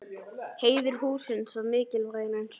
Heiður hússins var mikilvægari en svo.